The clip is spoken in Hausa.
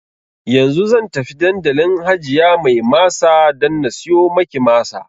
Yanzu zan tafi dandalin hajiya mai masa dan na siyo maki masa